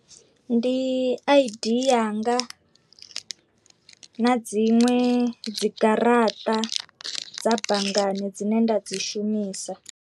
Ndi I_D yanga, na dziṅwe dzi garaṱa dza banngani dzine nda dzi shumisa.